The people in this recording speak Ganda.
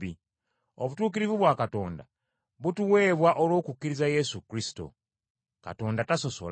Obutuukirivu bwa Katonda butuweebwa olw’okukkiriza Yesu Kristo. Katonda tasosola.